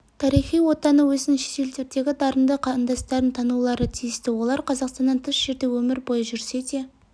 тарихи отаны өзінің шетелдердегі дарынды қандастарын танулары тиісті олар қазақстаннан тыс жерде өмір бойы жүрсе де